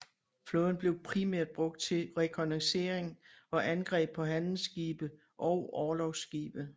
Flåden blev primært brugt til rekognoscering og angreb på handelsskibe og orlogsskibe